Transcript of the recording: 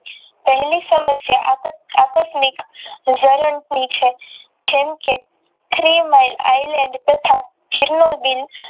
પહેલી સમસ્યા આપાતનીક વારં ની છે જેમ કે Three Mind ઈલેન્ડ તથા જીલાવ બિન